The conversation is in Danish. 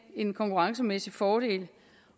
en konkurrencemæssig fordel